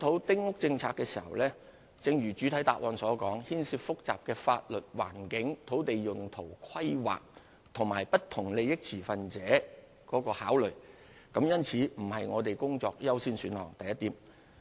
丁屋政策的檢討，正如主體答覆所述，涉及複雜的法律、環境、土地用途、規劃及不同利益持份者的考慮，故此不是我們工作的優先選項。